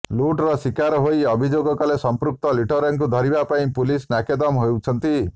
ଲୁଟ୍ର ଶୀକାର ହୋଇ ଅଭିଯୋଗ କଲେ ସମ୍ପୃକ୍ତ ଲୁଟେରାକୁ ଧରିବା ପାଇଁ ପୁଲିସ୍ ନାକେଦମ ହେଉଛନ୍ତି